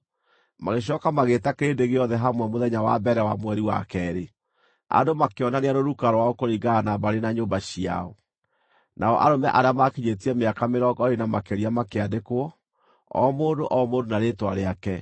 Magĩcooka magĩĩta kĩrĩndĩ gĩothe hamwe mũthenya wa mbere wa mweri wa keerĩ. Andũ makĩonania rũruka rwao kũringana na mbarĩ na nyũmba ciao, nao arũme arĩa maakinyĩtie mĩaka mĩrongo ĩĩrĩ na makĩria makĩandĩkwo, o mũndũ o mũndũ na rĩĩtwa rĩake,